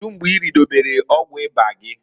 Kedu mgbe iridobelu ọgwụ ịba gị?